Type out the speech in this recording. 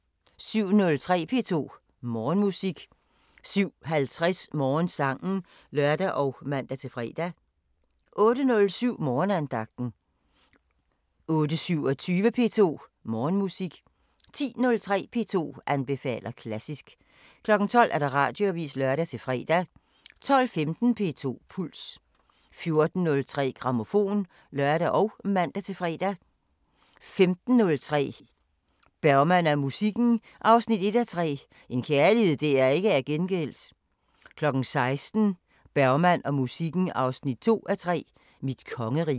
07:03: P2 Morgenmusik 07:50: Morgensangen (lør og man-fre) 08:07: Morgenandagten 08:27: P2 Morgenmusik 10:03: P2 anbefaler klassisk 12:00: Radioavisen (lør-fre) 12:15: P2 Puls 14:03: Grammofon (lør og man-fre) 15:03: Bergman og musikken 1:3 – En kærlighed der ikke er gengældt 16:00: Bergman og musikken 2:3 – Mit kongerige